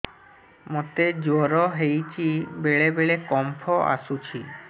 ମୋତେ ଜ୍ୱର ହେଇଚି ବେଳେ ବେଳେ କମ୍ପ ଆସୁଛି